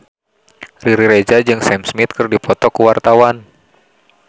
Riri Reza jeung Sam Smith keur dipoto ku wartawan